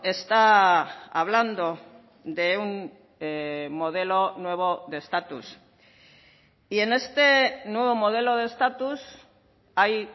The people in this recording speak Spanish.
está hablando de un modelo nuevo de estatus y en este nuevo modelo de estatus hay